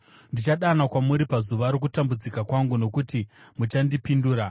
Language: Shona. Ndichadana kwamuri pazuva rokutambudzika kwangu, nokuti muchandipindura.